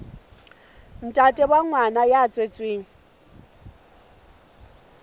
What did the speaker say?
ntate wa ngwana ya tswetsweng